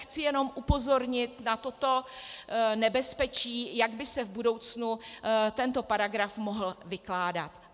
Chci jenom upozornit na toto nebezpečí, jak by se v budoucnu tento paragraf mohl vykládat.